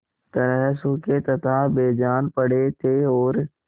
तरह सूखे तथा बेजान पड़े थे और